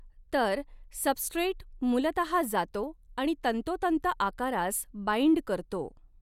तर सबस्ट्रेट मूलतहा जातो आणि तंतोतंत आकारास बाईंड करतो.